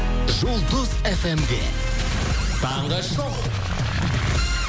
жұлдыз фм де таңғы шоу